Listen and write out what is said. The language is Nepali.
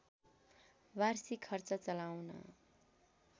वार्षिक खर्च चलाउन